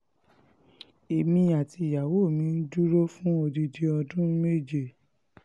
èmi àti ìyàwó mi dúró fún odidi ọdún méje